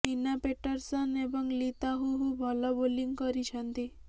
ଏନା ପେଟରସନ ଏବଂ ଲି ତାହୁୁହୁ ଭଲ ବୋଲିଂ କରିଛନ୍ତି